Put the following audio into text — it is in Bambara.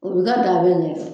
O bi ka daa bɛ ɲɛgɛn